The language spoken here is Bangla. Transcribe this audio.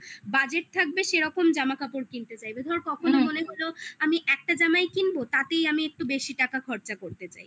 budgeted থাকবে সেরকম জামাকাপড় কিনতে চাইবে ধর কখনো মনে হলো আমি একটা জামাই কিনবো তাতেই আমি একটু বেশি টাকা খরচা করতে চাই